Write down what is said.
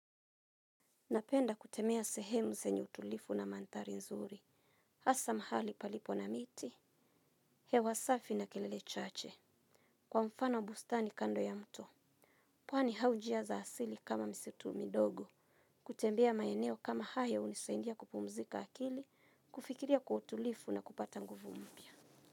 Napenda kutembea sehemu zenye utulivu na mandhari nzuri. Hasa mahali palipo na miti. Hewa safi na kelele chache. Kwa mfano bustani kando ya mto. Pwani au njia za asili kama misitu midogo. Kutembea maeneo kama haya hunisaidia kupumzika akili, kufikiria kwa utulivu na kupata nguvu mpya.